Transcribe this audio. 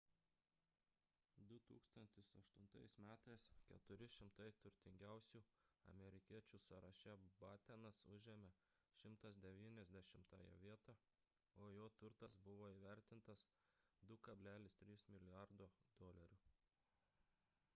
2008 m 400 turtingiausių amerikiečių sąraše battenas užėmė 190-ąją vietą o jo turtas buvo įvertintas 2,3 mlrd usd